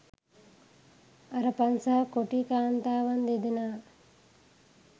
අරපන් සහ කොටි කාන්තාවන් දෙදෙනා